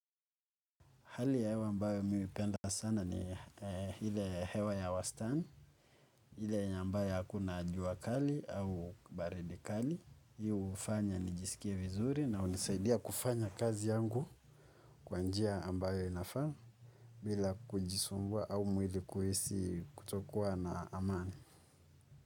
Hali ya hewa ambayo mimi hupenda sana ni ile hewa ya wastani, ile yenye ambayo hakuna jua kali au baridi kali. Hio hufanya nijisikia vizuri na hunisaidia kufanya kazi yangu kwa njia ambayo inafaa bila kujisumbua au mwili kuhisi kutokuwa na amani.